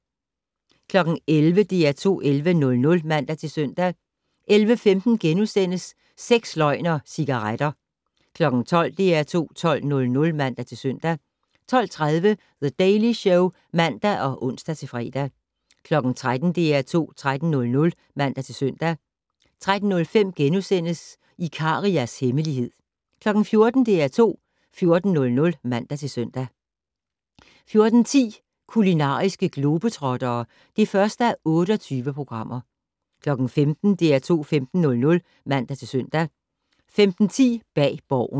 11:00: DR2 11:00 (man-søn) 11:15: Sex, løgn og cigaretter * 12:00: DR2 12:00 (man-søn) 12:30: The Daily Show (man og ons-fre) 13:00: DR2 13:00 (man-søn) 13:05: Ikarias hemmelighed * 14:00: DR2 14:00 (man-søn) 14:10: Kulinariske globetrottere (1:28) 15:00: DR2 15:00 (man-søn) 15:10: Bag Borgen